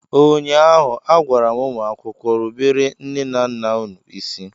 ụnyaahụ, a gwara m ụmụ akwụkwọ, rubere nne na nna unu isi!